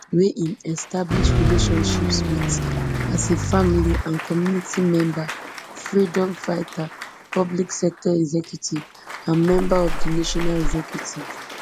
wey im establish relationships wit as a family and community member freedom fighter public sector executive and member of the national executive